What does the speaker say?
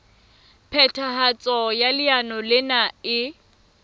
phethahatso ya leano lena e